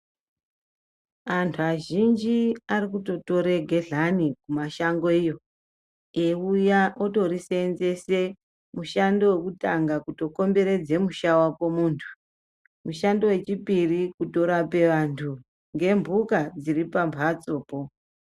Antu azhinji arikutotora gehlani mumashango iyo eiuya otorisenzesa mushando wekutanga kukomberedza musha wako muntu mushando wechipiri kutorape vantu nembuka dziri pambatsopo.